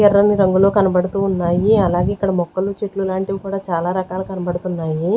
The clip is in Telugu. ఎర్రని రంగులో కనబడుతూ ఉన్నాయి అలాగే ఇక్కడ మొక్కలు చెట్లు లాంటివి కూడా చాలా రకాలు కనబడుతున్నాయి.